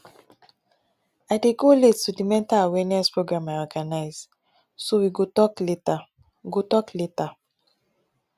i dey go late to the mental awareness program i organize so we go talk later go talk later